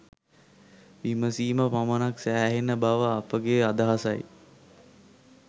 විමසීම පමණක් සෑහෙන බව අපගේ අදහසයි.